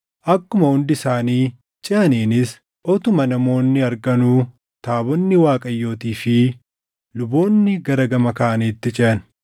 akkuma hundi isaanii ceʼaniinis utuma namoonni arganuu taabonni Waaqayyootii fi luboonni gara gama kaaniitti ceʼan.